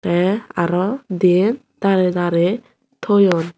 tey aro diyen darey darey toyon.